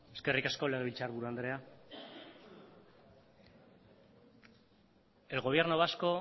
eskerrik asko legebiltzar buru andrea el gobierno vasco